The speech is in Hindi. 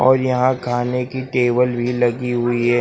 और यहां खाने की टेबल भी लगी हुई है।